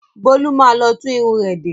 Bólú má lọ tún irun rẹ̀ de.